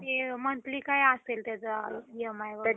ते monthly काय असेल त्याचं EAMI वगैरे?